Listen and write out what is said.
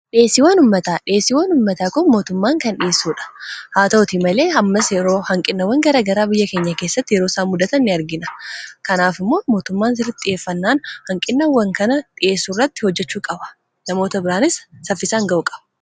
dhiheesiiwwan ummataa, dhiheesiiwwan ummataa kon mootummaan kan dhi'eessuudha haa ta'uti malee hammas yeroo hanqinawwan gara garaa biyya keenya keessatti yeroo isaa mudatan in argina kanaaf immoo mootummaan sirritti xi'eeffannaan hanqinnawwan kana dhiyeessuu irratti hojjechuu qaba namoota biraanis saffisaan ga'u qaba